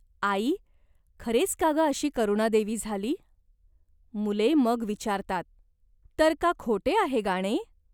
"आई, खरेच का ग अशी करुणादेवी झाली ?" मुले मग विचारतात. "तर का खोटे आहे गाणे ?